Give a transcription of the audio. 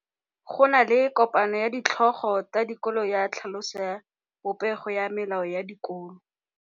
Go na le kopanô ya ditlhogo tsa dikolo ya tlhaloso ya popêgô ya melao ya dikolo.